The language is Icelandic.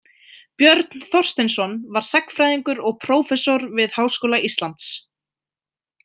Björn Þorsteinsson var sagnfræðingur og prófessor við Háskóla Íslands.